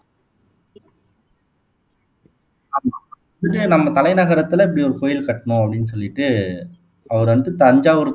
ஆமா ஆமா நம்ம தலைநகரத்துல இப்படி ஒரு கோயில் கட்டணும் அப்படின்னு சொல்லிட்டு அவரு வந்து தஞ்சாவூர்